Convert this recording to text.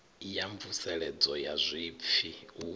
ya mvuseledzo ya zwipfi u